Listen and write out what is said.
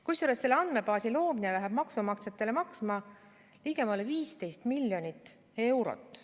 Kusjuures selle andmebaasi loomine läheb maksumaksjatele maksma ligemale 15 miljonit eurot.